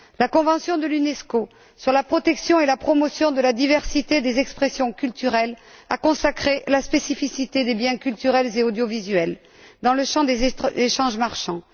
La Convention de l'UNESCO sur la protection et la promotion de la diversité des expressions culturelles a consacré la spécificité des biens culturels et audiovisuels dans le champ des échanges marchands.